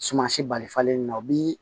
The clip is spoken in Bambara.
Suman si bali falen na o bi